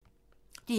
DR1